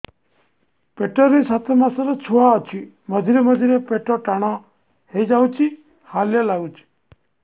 ପେଟ ରେ ସାତମାସର ଛୁଆ ଅଛି ମଝିରେ ମଝିରେ ପେଟ ଟାଣ ହେଇଯାଉଚି ହାଲିଆ ଲାଗୁଚି